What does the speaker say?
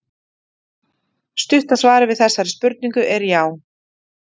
Stutta svarið við þessari spurningu er já.